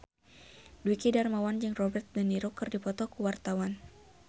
Dwiki Darmawan jeung Robert de Niro keur dipoto ku wartawan